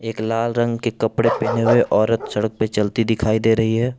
एक लाल रंग के कपड़े पहने हुए औरत सड़क पे चलती दिखाई दे रही है।